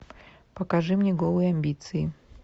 покажи мне голые амбиции